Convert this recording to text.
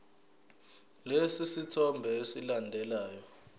lesi sithombe esilandelayo